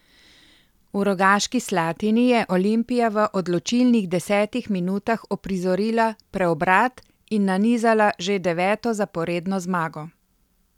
V Rogaški Slatini je Olimpija v odločilnih desetih minutah uprizorila preobrat in nanizala že deveto zaporedno zmago.